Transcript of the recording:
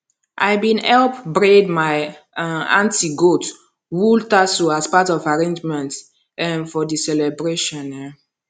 i been help braid my um aunty goat wool tassels as part of arrangements um for the celebration um